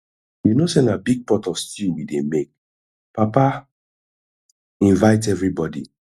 you no say na big pot of stew we dey make papa invite everybody